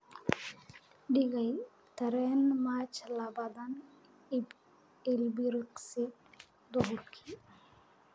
dhigay tareen March labaatan ilbiriqsi duhurkii